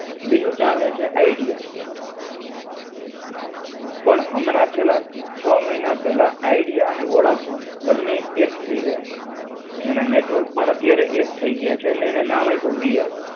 બીજું ચાલે છે આઈડિયા. પણ અમનાં છેલ્લા, છ મહિના પહેલાં આઈડિયા અને વોડાફોન બને એક થઇ ગયા. એના નેટવર્ક પણ અત્યારે એક થઇ ગયા છે, ને એને નામ આપ્યું VI